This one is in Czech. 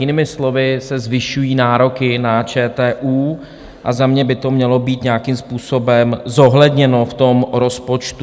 Jinými slovy se zvyšují nároky na ČTÚ a za mě by to mělo být nějakým způsobem zohledněno v tom rozpočtu.